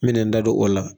N bɛ n da don o la